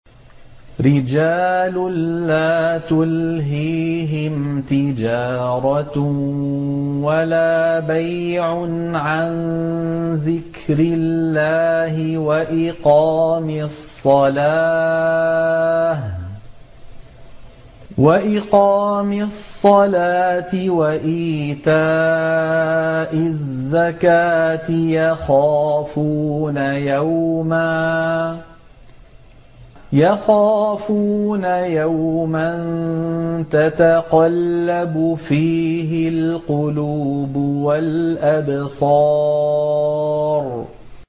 رِجَالٌ لَّا تُلْهِيهِمْ تِجَارَةٌ وَلَا بَيْعٌ عَن ذِكْرِ اللَّهِ وَإِقَامِ الصَّلَاةِ وَإِيتَاءِ الزَّكَاةِ ۙ يَخَافُونَ يَوْمًا تَتَقَلَّبُ فِيهِ الْقُلُوبُ وَالْأَبْصَارُ